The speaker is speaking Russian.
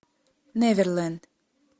неверленд